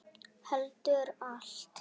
Heldur allt.